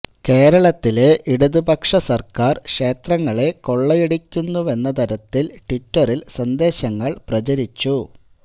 കേരളത്തിലെ ഇടതുപക്ഷ സര്ക്കാര് ക്ഷേത്രങ്ങളെ കൊള്ളയടിക്കുന്നുവെന്ന തരത്തില് ട്വിറ്ററില് സന്ദേശങ്ങള് പ്രചരിച്ചു